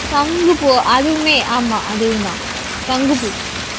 சங்குப்பூ அதுவுமே ஆமா அதுவும்தான் சங்குப்பூ